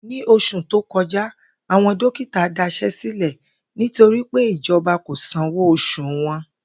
Ní os̩ù tó ko̩já, àwo̩n dókítà das̩é̩ sílè̩ nítorí pé ìjo̩ba kò sanwó os̩ù wo̩n